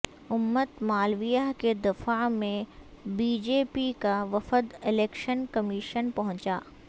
امت مالویہ کے دفاع میں بی جے پی کا وفد الیکشن کمیشن پہنچا